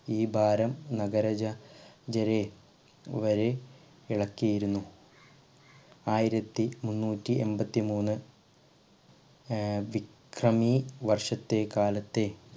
ഈ ഭാരം നഗര ജ ജരെ വരെ ഇളക്കിയിരുന്നു ആയിരത്തി മുന്നൂറ്റി എമ്പത്തി മൂന്ന് ഏർ വിക്രമി വർഷത്തെ കാലത്തെ